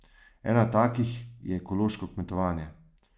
Ena takih je ekološko kmetovanje.